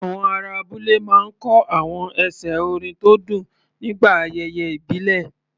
Àwọn ará abúlé máa ń kọ àwọn ẹsẹ̀ orin tó dùn nígbà ayẹyẹ ìbílẹ̀.